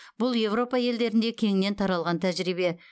бұл еуропа елдерінде кеңінен таралған тәжірибе